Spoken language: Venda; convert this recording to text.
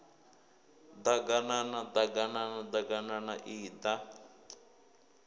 ḓaganana ḓ aganana ḓaganana iḓa